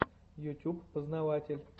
ютюб познаватель